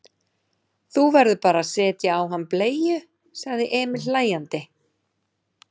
Þú verður bara að setja á hann bleiu, sagði Emil hlæjandi.